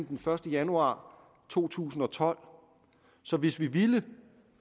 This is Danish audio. den første januar to tusind og tolv så hvis vi ville